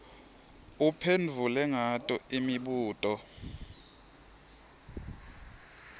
uphendvule ngato imibuto